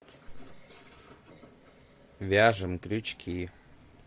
вяжем крючки